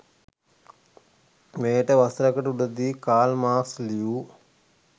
මෙයට වසරකට උඩදී කාල් මාක්ස් ලියූ